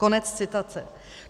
Konec citace.